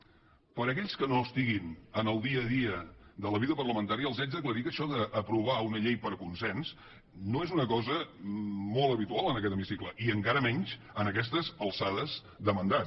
per a aquells que no estiguin en el dia a dia de la vida parlamentària els haig d’aclarir que això d’aprovar una llei per consens no és una cosa molt habitual en aquest hemicicle i encara menys en aquestes alçades de mandat